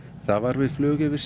það var við flug yfir